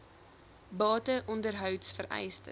bate onderhouds vereistes